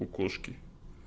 у кошки